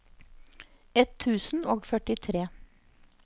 ett tusen og førtitre